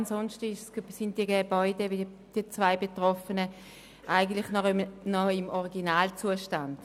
Ansonsten sind die beiden betroffenen Gebäude noch im Originalzustand.